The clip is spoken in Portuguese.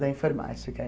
Da informática.